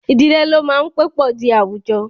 Idile lo maa n pe po di awujọ.